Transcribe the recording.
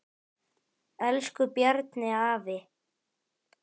Elsku Bjarni afi.